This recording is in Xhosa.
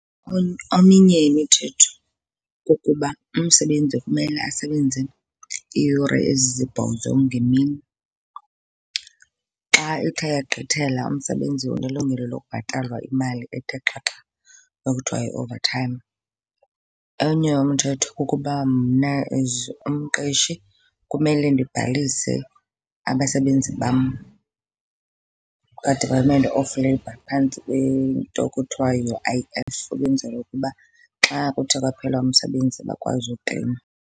Eminye imithetho kukuba umsebenzi kumele asebenze iiyure ezisibhozo ngemini. Xa ithe yagqithela umsebenzi unelungelo lokubhatalwa imali ethe xhaxha okuthiwa yi-overtime. Enye umthetho kukuba mna as umqeshi kumele ndibhalise abasebenzi bam kwaDepartment of Labour phantsi kwento ekuthiwa yi-U_I_F, ukwenzela ukuba xa kuthe kwaphela umsebenzi bakwazi ukleyima.